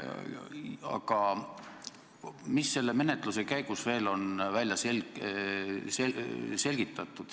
Aga mis selle menetluse käigus veel on välja selgitatud?